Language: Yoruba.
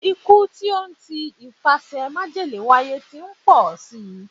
Ikú tí ó n ti ipasẹ̀ májèlé wáyé ti ń pọl si.